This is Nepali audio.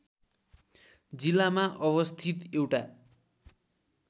जिल्लामा अवस्थित एउटा